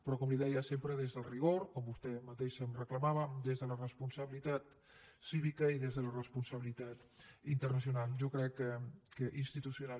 però com li deia sempre des del rigor com vostè mateixa em reclamava des de la responsabilitat cívica i des de la responsabilitat institucional